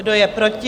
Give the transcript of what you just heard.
Kdo je proti?